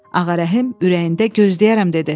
Ağarəhim ürəyində gözləyərəm dedi.